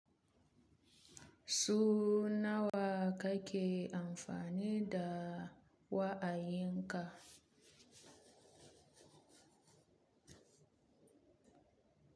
Sau nawa kake amfani da wa'ayin ka?